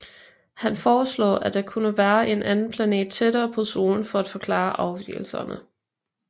Han foreslog at der kunne være en anden planet tættere på Solen for at forklare afvigelserne